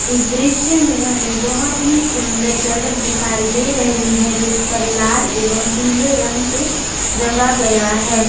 इस दृश्य में हमें बहुत ही सुंदर सड़क दिखाई दे रही है जिस पर लाल एवं पीले रंग से रंग गया है।